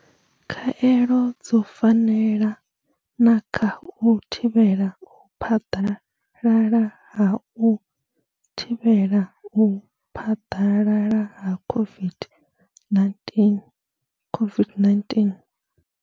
Khaelo dzo fanela na kha u thivhela u phaḓalala ha u thivhela u phaḓalala ha COVID-19 COVID-19.